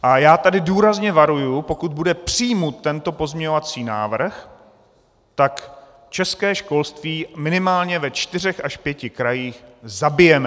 A já tady důrazně varuji, pokud bude přijat tento pozměňovací návrh, tak české školství minimálně ve čtyřech až pěti krajích zabijeme!